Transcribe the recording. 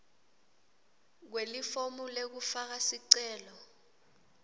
kwelifomu lekufaka sicelo